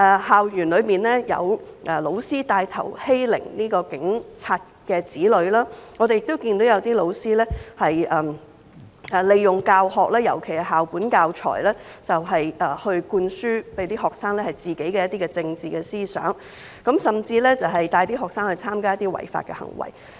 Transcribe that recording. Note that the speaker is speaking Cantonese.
校園裏有教師牽頭欺凌警員的子女，我們亦看到有些教師利用教學，尤其是校本教材，向學生灌輸自己的一些政治思想，甚至帶領學生參加一些違法活動。